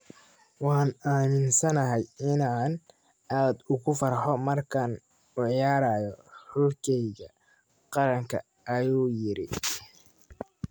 "Waan aaminsanahay inaan aad ugu farxo markaan u ciyaarayo xulkeyga qaranka," ayuu yiri.